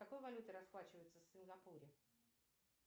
какой валютой расплачиваются в сингапуре